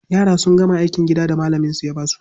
Yara sun gama aikin gidan da malaminsu ya ba su.